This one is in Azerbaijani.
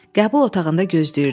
Qəbul otağında gözləyirdik.